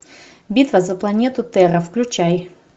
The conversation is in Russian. битва за планету терра включай